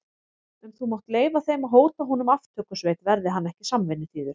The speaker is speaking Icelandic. En þú mátt leyfa þeim að hóta honum aftökusveit, verði hann ekki samvinnuþýður.